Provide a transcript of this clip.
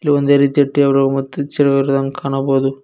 ಒಂದೇ ರೀತಿಯ ಟೇಬಲ್ ಮತ್ತು ಚೇರ್ ಗಳು ಇರುವುದನ್ನು ಕಾಣಬೋದು.